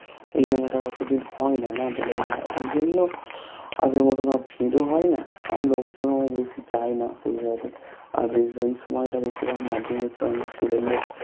এই মেলাটা অতদিন হয় না না দোলের মেলা ঐজন্য আগের মতোন আর ভিড়ও হয়না আর লোক জনও বেশি যায়না সেইভাবে আর বেশিরভাগ এই সময় টা বেশিরভাগ মাধ্যমিক স্টুডেন্ট দেড়